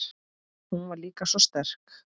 Hún var líka svo sterk.